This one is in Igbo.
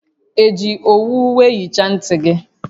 Eji owu wee hichaa nti gi?